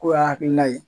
K'o y'a hakilina ye